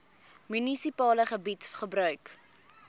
munisipale gebied gebruik